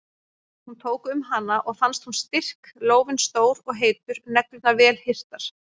Hún tók um hana og fannst hún styrk, lófinn stór og heitur, neglurnar vel hirtar.